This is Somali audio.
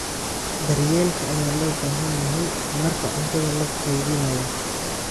Daryeelka ayaa loo baahan yahay marka cuntada la kaydinayo.